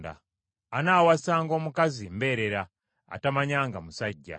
Anaawasanga omukazi mbeerera atamanyanga musajja.